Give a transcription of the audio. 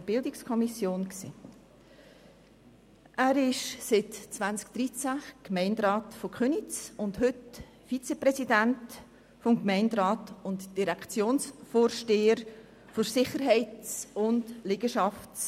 der BiK. Er ist seit 2013 Gemeinderat von Köniz und heute Vizepräsident des Gemeinderats sowie Vorsteher der Direktion Sicherheit und Liegenschaften.